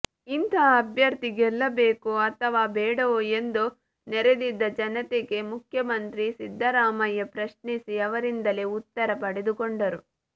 ಇಂತಹ ಅಭ್ಯರ್ಥಿ ಗೆಲ್ಲಬೇಕೋ ಅಥವಾ ಬೇಡವೋ ಎಂದು ನೆರೆದಿದ್ದ ಜನತೆಗೆ ಮುಖ್ಯಮಂತ್ರಿ ಸಿದ್ದರಾಮಯ್ಯ ಪ್ರಶ್ನಿಸಿ ಅವರಿಂದಲೇ ಉತ್ತರ ಪಡೆದುಕೊಂಡರು